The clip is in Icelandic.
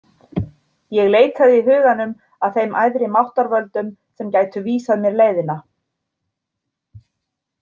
Ég leitaði í huganum að þeim æðri máttarvöldum sem gætu vísað mér leiðina.